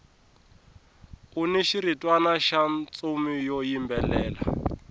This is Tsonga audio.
uni xiritwana xa ntsumi xo yimbelela